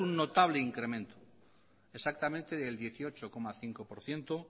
un notable incremento exactamente del dieciocho coma cinco por ciento